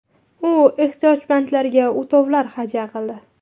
U ehtiyojmandlarga o‘tovlar hadya qildi.